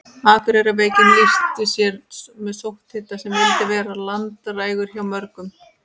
Akureyrarveikin lýsti sér með sótthita sem vildi vera langdrægur hjá mörgum.